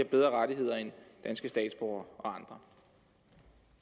bedre rettigheder end danske statsborgere